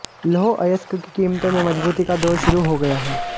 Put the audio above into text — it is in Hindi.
लौह अयस्क की कीमतों में मजबूती का दौर शुरू हो गया है